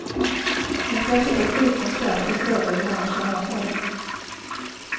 Intresset att fly från skatt är större ju mer man tjänar på det.